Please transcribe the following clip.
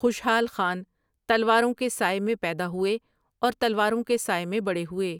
خوشحال خان تلواروں کے سائے میں پیدا ہوئے اور تلواروں کے سائے میں بڑے ہوئے ۔